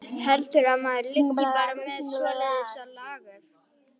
Heldurðu að maður liggi bara með svoleiðis á lager.